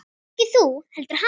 Ekki þú heldur hann.